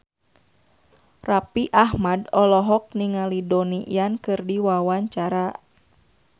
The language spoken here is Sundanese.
Raffi Ahmad olohok ningali Donnie Yan keur diwawancara